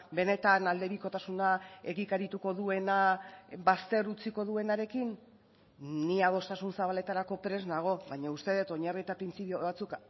benetan aldebikotasuna egikarituko duena bazter utziko duenarekin ni adostasun zabaletarako prest nago baina uste dut oinarri eta printzipio batzuk